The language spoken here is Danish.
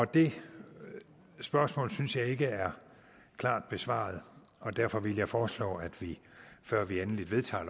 det spørgsmål synes jeg ikke er klart besvaret og derfor vil jeg foreslå at vi før vi endeligt vedtager